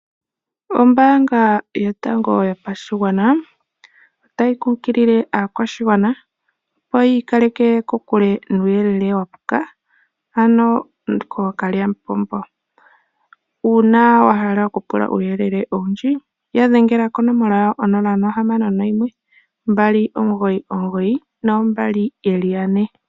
Ombaanga yotango yopashigwana otayi kunkilile aakwashigwana opo yikaleke kokule nuuyelele wapuka ano kookalyapombo, uuna wahala okupula uuyelele owundji yadhengela konomola yawo 0612992222.